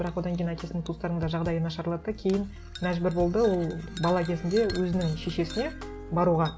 бірақ одан кейін әкесінің туыстарының да жағдайы нашарлады да кейін мәжбүр болды ол бала кезінде өзінің шешесіне баруға